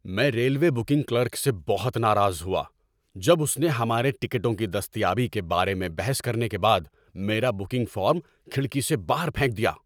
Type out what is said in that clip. میں railway booking clerk سے بہت ناراض ہوا جب اس نے ہمارے ٹکٹوں کی دستیابی کے بارے میں بحث کرنے کے بعد میرا بکنگ فارم کھڑکی سے باہر پھینک دیا۔